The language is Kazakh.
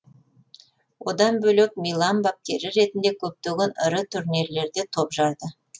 одан бөлек милан бапкері ретінде көптеген ірі турнирлерде топ жарды